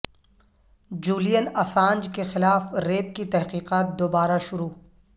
Julian Assange کے خلاف rape کی تحقیقات دوبارہ شروع